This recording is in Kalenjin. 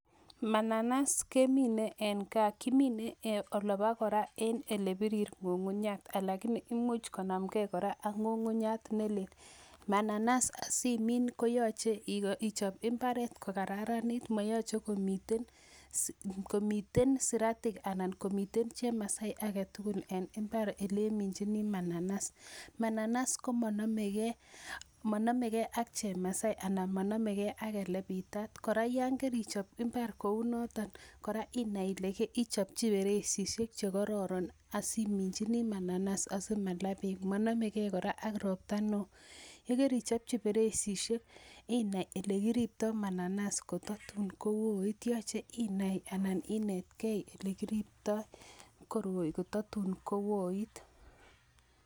Mananasi kemine en gaa kimine olebakora ele birir ng'ung'unyat lakini imuch konam gei ak ng'ung'unyat ne lel. Mananas asimin koyache ichop imbaret ko kararanitun, mayache komiten siratik anan komiten chemasai age tugul en imbar ele iminchini mananas. Mananas ko manamegei ak chemasai anan manamegei ak ele bitat kora yangerichop imbar kou noton kora inai ile ichopchi perechishek che kororon asiminjini mananas asimala beek manamegei kora ak robta neoo. Igeri ichopchi feresishek inai ile kiribtoi mananas kotatun ko oit yache inani anan inetgei ile kiribtoi koroi kotatun kooit.